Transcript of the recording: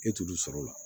E t'olu sɔrɔ o la